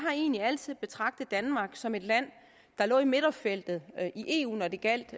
egentlig altid har betragtet danmark som et land der lå i midterfeltet i eu når det gjaldt